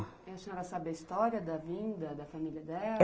E a senhora sabe a história da vinda, da família dela?